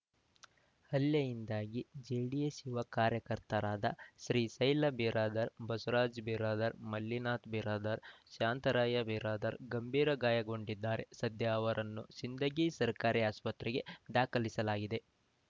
ಹಲ್ಲೆಯಿಂದಾಗಿ ಜೆಡಿಎಸ್‌ ಯುವ ಕಾರ್ಯಕರ್ತರಾದ ಶ್ರೀಶೈಲ ಬಿರಾದರ್ ಬಸವರಾಜ ಬಿರಾದರ್ ಮಲ್ಲಿನಾಥ ಬಿರಾದರ್ ಶಾಂತರಾಯ ಬಿರಾದರ್ ಗಂಭೀರ ಗಾಯಗೊಂಡಿದ್ದಾರೆ ಸದ್ಯ ಅವರನ್ನು ಸಿಂದಗಿ ಸರ್ಕಾರಿ ಆಸ್ಪತ್ರೆಗೆ ದಾಖಲಿಸಲಾಗಿದೆ